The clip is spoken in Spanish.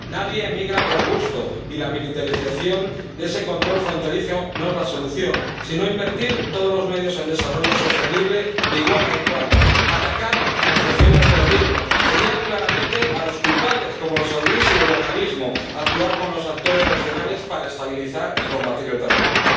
Nadie emigra por gusto y la militarización de ese control fronterizo no es la solución, sino invertir todos los medios en desarrollo sostenible de igual a igual, atacar la financiación del terrorismo, señalar claramente a los culpables, como los saudíes y el wahabismo, actuar con los actores regionales para estabilizar y combatir el terrorismo.